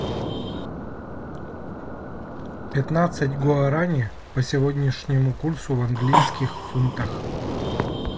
пятнадцать гуарани по сегодняшнему курсу в английских фунтах